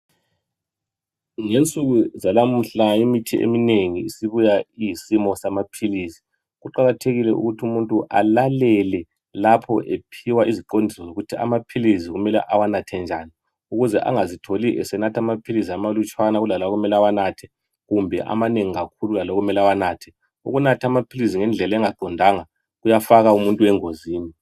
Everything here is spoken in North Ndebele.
ngensuku zalamuhla imithi eminengi isibuya iyisimo samaphilisi kuqakathekile ukuthi umuntu alalele lapho ephiwa iziqondiso zokuthi amaphilisi kumele awanathe njani ukuze angazitholi esenatha amaphilisi amalutshwane kulalawo okumele awanathe kumbe amanengi kakhulu kulalawo okumele awanathe ukunatha amaphilisi ngendlela engaqondanga kuyafaka uuntu engozini